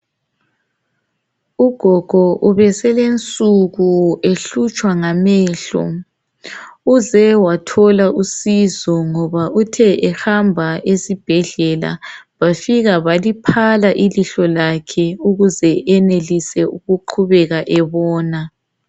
Ugogo ubeselensuku ehlutshwa ngamehlo. Uze wathola usizo ngoba uthe ehamba esibhedlela bafika baliphala ilihlo lakhe ukuze enelise ukuqhubeka ebona.